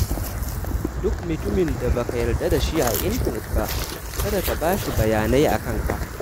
Duk mutumin da ba ka yarda da shi a intanet ba, kada ka ba shi bayanai a kanka.